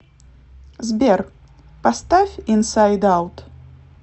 сбер поставь инсайд аут